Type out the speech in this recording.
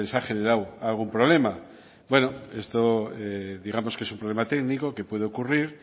ha generado algún problema bueno esto digamos que es un problema técnico que puede ocurrir